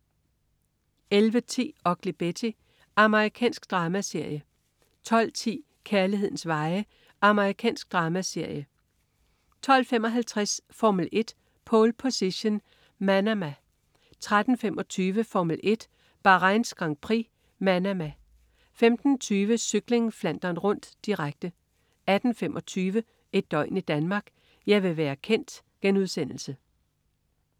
11.10 Ugly Betty. Amerikansk dramaserie 12.10 Kærlighedens veje. Amerikansk dramaserie 12.55 Formel 1: Pole Position. Manama 13.25 Formel 1: Bahrains Grand Prix. Manama 15.20 Cykling: Flandern Rundt, direkte 18.25 Et døgn i Danmark: Jeg vil være kendt*